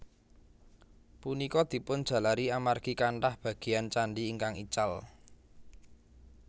Punika dipun jalari amargi kanthah bagéyan candhi ingkang ical